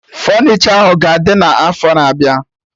Fọnichọ ahụ ga-adị na afọ na abịa